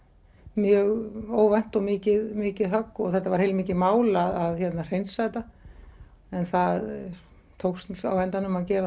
mjög óvænt og mikið mikið högg þetta var heilmikið mál að hreinsa þetta en það tókst á endanum að gera